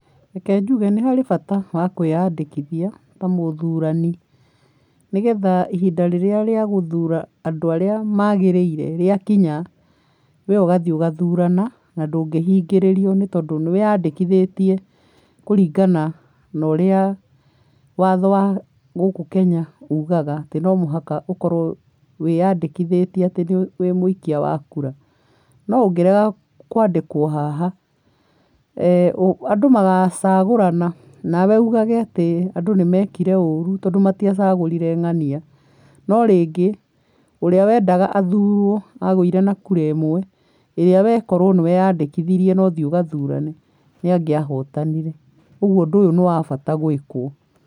Reke njuge nĩ harĩ bata wa kwĩyandĩkithia ta mũthurani, nĩ getha ihinda rĩria rĩa gũthura andũ ara magĩrĩire rĩakinya, we ũgathiĩ ũgathurana, na ndũngĩhingĩrĩrio nĩ tondũ nĩwĩyandĩkithĩtie kũringana na ũrĩa watho wa gũkũ Kenya ugaga atĩ no mũhaka ũkorwo wĩyandĩkithĩtie atĩ wĩ mũikia wa kura, no ũngĩrega kwandĩkwo haha andũ magacagũrana, nawe ugage atĩ andũ nĩ mekire ũru tondũ matiacagũrire ng'ania, no rĩngĩ ũrĩa wendaga athurwo, agũire na kura ĩmwe ĩrĩa we korwo we nĩ weyandĩkithirie na ũthiĩ ũthurane nĩ angĩahotanire, ũguo ũndũ ũyũ nĩ wa bata gwĩkwo.